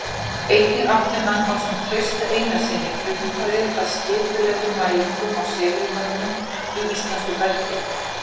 Einnig átti hann ásamt Trausta Einarssyni frumkvæðið að skipulegum mælingum á segulmögnun í íslensku bergi.